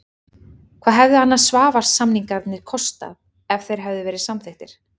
Hvað hefðu Svavars-samningarnir kostað ef þeir hefðu verið samþykktir?